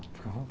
Fica à